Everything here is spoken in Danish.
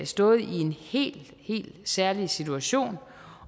stået i en helt helt særlig situation